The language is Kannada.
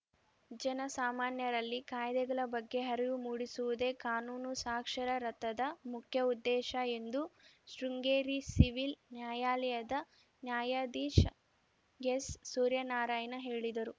ಜನಸಾಮಾನ್ಯರಲ್ಲಿ ಕಾಯ್ದೆಗಳ ಬಗ್ಗೆ ಅರಿವು ಮೂಡಿಸುವುದೇ ಕಾನೂನು ಸಾಕ್ಷರರಥದ ಮುಖ್ಯ ಉದ್ದೇಶ ಎಂದು ಶೃಂಗೇರಿ ಸಿವಿಲ್‌ ನ್ಯಾಯಾಲಯದ ನ್ಯಾಯಾಧೀಶ ಎಸ್‌ ಸೂರ್ಯನಾರಾಯಣ ಹೇಳಿದರು